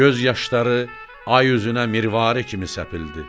Göz yaşları ay üzünə mirvari kimi səpildi.